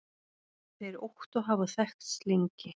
Þeir Ottó hafa þekkst lengi.